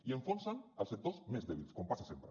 i enfonsen els sectors més dèbils com passa sempre